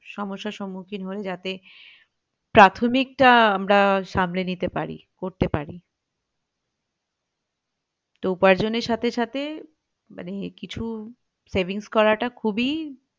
সমস্যার সুমুক্ষিন হয় যাতে প্রাথমিক টা আমরা সামলে নিতে পারি করতে পারি তো উপার্জনের সাথে সাথে মানে কিছু savings করাটা খুবই